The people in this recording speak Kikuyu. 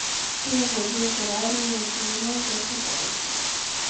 Tiga gũthumbũra nĩ ndirĩ na mbeca thaa ici